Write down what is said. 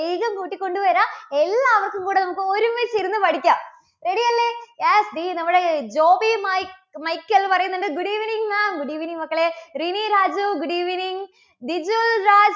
വേഗം കൂട്ടിക്കൊണ്ടുവരാം. എല്ലാവർക്കും കൂടെ നമുക്ക് ഒരുമിച്ചിരുന്ന് പഠിക്കാം ശരിയല്ലേ. yes ദേ നമ്മുടെ ജോബി മൈക്ക്~മൈക്കൽ പറയുന്നുണ്ട് good evening maam good evening മക്കളേ റിനീ രാജു good evening ദിജുൽ രാജ്